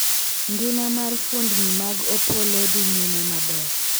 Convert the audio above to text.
ngima mar fuondni mag Opollo dhi nyime maber